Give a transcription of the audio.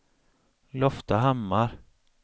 Loftahammar